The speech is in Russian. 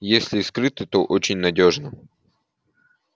если и скрыто то очень надёжно